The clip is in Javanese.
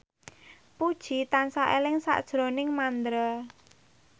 Puji tansah eling sakjroning Mandra